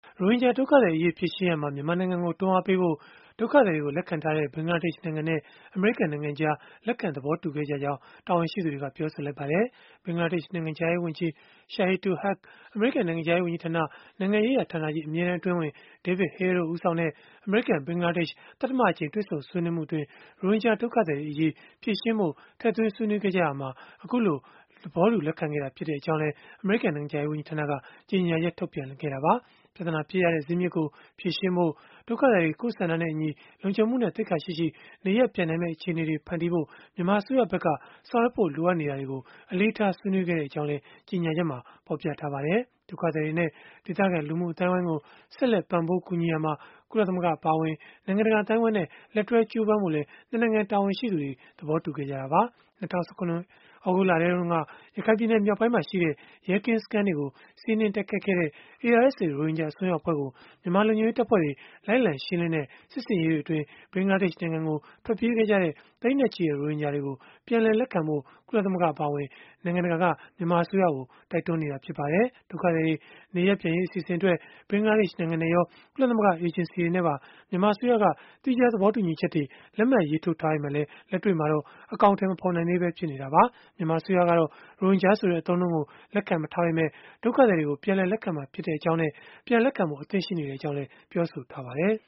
ရိုဟင်ဂျာ ဒုက္ခသည်အရေး ဖြေရှင်းရာမှာ မြန်မာနိုင်ငံကို တွန်းအားပေးဖို့ ဒုက္ခသည်တွေကို လက်ခံထားတဲ့ ဘင်္ဂလားဒေ့ရှ်နိုင်ငံနဲ့ အမေရိကန်နိုင်ငံကြား လက်ခံ သဘောတူခဲ့ကြကြောင်း တာဝန်ရှိသူတွေက ပြောဆိုလိုက်ပါတယ်။ ဘင်္ဂလားဒေ့ရှ် နိုင်ငံခြားရေးဝန်ကြီး Shahidul Haque အမေရိကန် နိုင်ငံခြားရေး ဝန်ကြီးဌာန နိုင်ငံရေးရာဌာနကြီး အမြဲတန်း အတွင်းဝန် David Hale တို့ ဦးဆောင်တဲ့ အမေရိကန် ဘင်္ဂလားဒေ့ရှ် သတ္တမအကြိမ် တွေ့ဆုံ ဆွေးနွေးမှုအတွင်း ရိုဟင်ဂျာ ဒုက္ခသည်တွေအရေး ဖြေရှင်းဖို့ ထည့်သွင်း ဆွေးနွေးခဲ့ကြရာမှာ အခုလို သဘောတူ လက်ခံခဲ့တာ ဖြစ်ကြောင်းလည်း အမေရိကန် နိုင်ငံခြားရေး ဝန်ကြီးဌာနက ကြေညာချက် ထုတ်ပြန်ခဲ့တာပါ။ ပြဿနာ ဖြစ်ရတဲ့ ဇစ်မြစ်ကို ဖြေရှင်းဖို့ ဒုက္ခသည်တွေ ကိုယ့်ဆန္ဒနဲ့အညီ လုံခြုံမှုနဲ့ သိက္ခာရှိရှိ နေရပ်ပြန်နိုင်မယ့် အခြေအနေတွေ ဖန်တီးဖို့ မြန်မာအစိုးရဘက်က ဆောင်ရွက်ဖို့ လိုအပ်နေတာတွေကို အလေးထား ဆွေးနွေးခဲ့ကြောင်းလည်း ကြေညာချက်မှာ ဖော်ပြထားပါတယ်။ ဒုက္ခသည်တွေနဲ့ ဒေသခံ လူမှုအသိုင်းအဝန်းကို ဆက်လက် ပံ့ပိုး ကူညီရာမှာ ကုလသမဂ္ဂ အပါအဝင် နိုင်ငံတကာ အသိုင်းအဝန်းနဲ့ လက်တွဲကြိုးပမ်းဖို့လည်း နှစ် နိုင်ငံ တာဝန်ရှိသူတွေ သဘောတူခဲ့ကြတာပါ။ ၂၀၁၇ သြဂုတ်လတုန်းက ရခိုင်ပြည်နယ် မြောက်ပိုင်းမှာရှိတဲ့ ရဲကင်းစခန်းတွေကို စီးနင်းတိုက်ခိုက်ခဲ့တဲ့ ARSA ရိုဟင်ဂျာ အစွန်းရောက် အဖွဲ့ကို မြန်မာလုံခြုံရေးတပ်ဖွဲ့တွေ လိုက်လံရှင်းလင်းတဲ့ စစ်ဆင်ရေးတွေအတွင်း ဘင်္ဂလားဒေ့ရှ် နိုင်ငံကို ထွက်ပြေးခဲ့ကြတဲ့ သိန်းနဲ့ချီတဲ့ ရိုဟင်ဂျာတွေကို ပြန်လည်လက်ခံဖို့ ကုလသမဂ္ဂ အပါအဝင် နိုင်ငံတကာက မြန်မာအစိုးရကို တိုက်တွန်းနေတာ ဖြစ်ပါတယ်။ ဒုက္ခသည်တွေ နေရပ်ပြန်ရေး အစီအစဉ်အတွက် ဘင်္ဂလားဒေ့ရှ်နိုင်ငံနဲ့ရော ကုလသမဂ္ဂ အေဂျင်စီတွေနဲ့ပါ မြန်မာအစိုးရက သီးခြား သဘောတူညီချက်တွေ လက်မှတ် ရေးထိုးထားပေမဲ့လည်း လက်တွေ့မှာတော့ အကောင်အထည် မဖော်နိုင်သေးဘဲ ဖြစ်နေတာပါ။ မြန်မာအစိုးရကတော့ ရိုဟင်ဂျာဆိုတဲ့ အသုံးအနှုန်းကို လက်ခံမထားပေမဲ့ ဒုက္ခသည်တွေကို ပြန်လည်လက်ခံမှာ ဖြစ်ကြောင်းနဲ့ ပြန်လက်ခံဖို့ အသင့် ရှိနေကြောင်းလည်း ပြောဆိုထားပါတယ်။